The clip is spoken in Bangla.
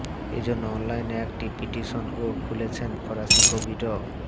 এ জন্য অনলাইনে একটি পিটিশনও খুলেছেন ফরাসি কবি ড